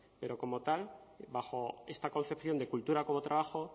pero como tal bajo esta concepción de cultura como trabajo